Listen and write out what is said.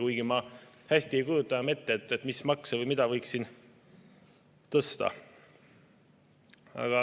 Kuigi ma hästi ei kujuta ette, mis makse või mida võiks siin veel tõsta.